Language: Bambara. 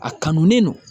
A kanu don